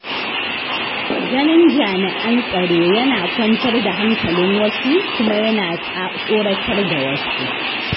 Ganin jami'an tsaro yana kwantar da hankalin wasu kuma yana tsoratar da wasu.